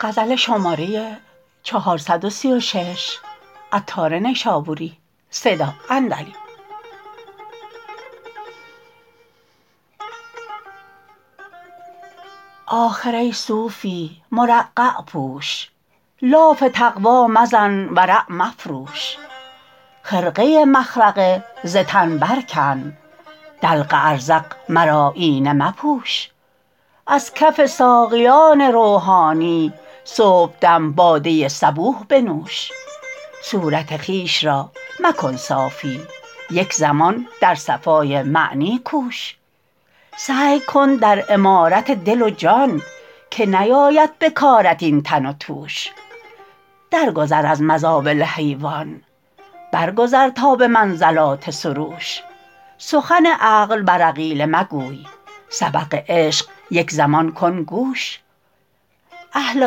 آخر ای صوفی مرقع پوش لاف تقوی مزن ورع مفروش خرقه مخرقه ز تن برکن دلق ازرق مراییانه مپوش از کف ساقیان روحانی صبحدم باده صبوح بنوش صورت خویش را مکن صافی یک زمان در صفای معنی کوش سعی کن در عمارت دل و جان که نیاید به کارت این تن و توش درگذر از مزابل حیوان برگذر تا به منزلات سروش سخن عقل بر عقیله مگوی سبق عشق یک زمان کن گوش اهل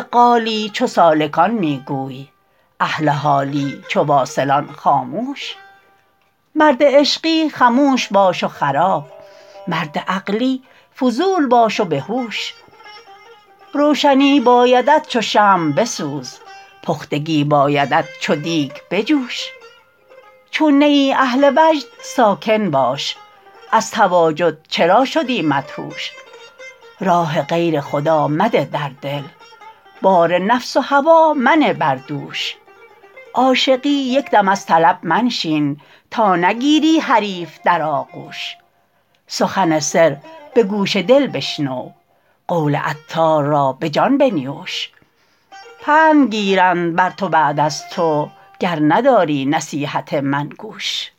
قالی چو سالکان می گوی اهل حالی چو واصلان خاموش مرد عشقی خموش باش و خراب مرد عقلی فضول باش و به هوش روشنی بایدت چو شمع بسوز پختگی بایدت چو دیگ بجوش چون نه ای اهل وجد ساکن باش از تواجد چرا شدی مدهوش راه غیر خدا مده در دل بار نفس و هوا منه بر دوش عاشقی یک دم از طلب منشین تا نگیری حریف در آغوش سخن سر به گوش دل بشنو قول عطار را به جان بنیوش پند گیرند بر تو بعد از تو گر نداری نصیحت من گوش